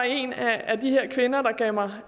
en af de her kvinder der gav mig